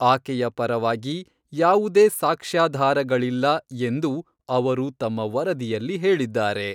ಆಕೆಯ ಪರವಾಗಿ "ಯಾವುದೇ ಸಾಕ್ಷ್ಯಾಧಾರಗಳಿಲ್ಲ" ಎಂದು ಅವರು ತಮ್ಮ ವರದಿಯಲ್ಲಿ ಹೇಳಿದ್ದಾರೆ.